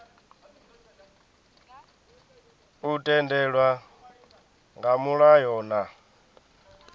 u tendelwa nga mulayo na